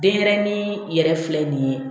Denɲɛrɛnin yɛrɛ filɛ nin ye